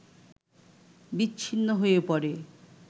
বিচ্ছিন্ন হয়ে পড়ে